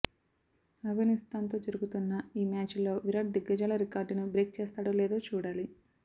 ఆఫ్ఘనిస్థాన్తో జరుగుతున్న ఈ మ్యాచ్లో విరాట్ దిగ్గజాల రికార్డును బ్రేక్ చేస్తాడో లేదో చూడాలి